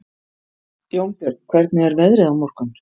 Jónbjörn, hvernig er veðrið á morgun?